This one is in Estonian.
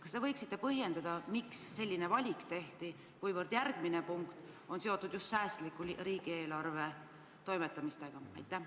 Kas te võiksite põhjendada, miks selline valik tehti, kuivõrd järgmine punkt on seotud just riigieelarvega säästliku toimetamisega?